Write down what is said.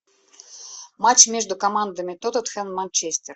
матч между командами тоттенхэм манчестер